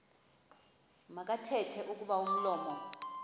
makathethe kuba umlomo